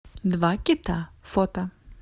два кита фото